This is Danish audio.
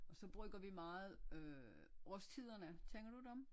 Så bruger vi meget øh Aarstiderne kender du dem?